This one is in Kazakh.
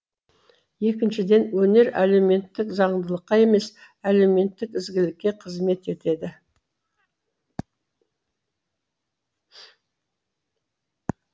екіншіден өнер әлеуметтік заңдылыққа емес әлеуметтік ізгілікке қызмет етеді